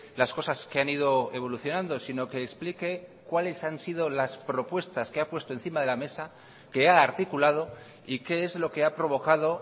las cosas que han ido evolucionando sino que explique cuáles han sido las propuestas que ha puesto encima de la mesa que ha articulado y qué es lo que ha provocado